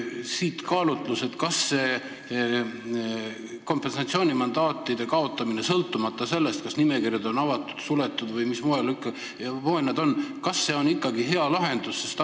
Siit kaalutlus: kas see kompensatsioonimandaatide kaotamine sõltumata sellest, kas nimekirjad on avatud, suletud või mis tahes moel, on ikkagi hea lahendus?